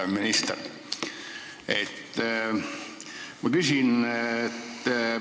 Hea minister!